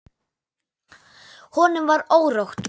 Honum var órótt.